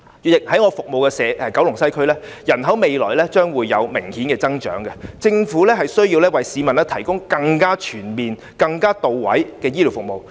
主席，在我服務的九龍西，未來將會有明顯的人口增長，政府需要為市民提供更全面和到位的醫療服務。